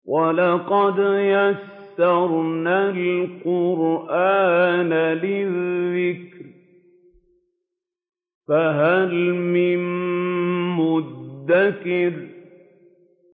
وَلَقَدْ يَسَّرْنَا الْقُرْآنَ لِلذِّكْرِ فَهَلْ مِن مُّدَّكِرٍ